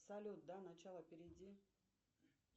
салют до начала перейди